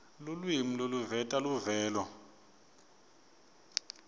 lulwimi loluveta luvelo